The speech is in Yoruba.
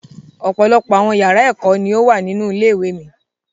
Ọ̀pọ̀lọpọ̀ àwọn yàrá ẹkọ ni o wa nínú ilé ìwé mi.